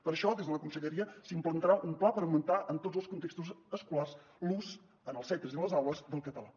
per això des de la conselleria s’implantarà un pla per aug·mentar en tots els contextos escolars l’ús en els centres i les aules del català